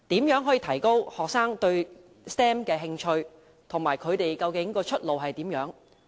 如何提高學生對 STEM 的興趣，以及他們相關的出路為何？